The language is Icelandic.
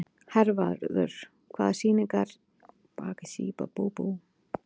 Hervarður, hvaða sýningar eru í leikhúsinu á miðvikudaginn?